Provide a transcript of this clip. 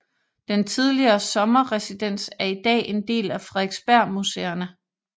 Den tidligere sommerresidens er i dag en del af Frederiksbergmuseerne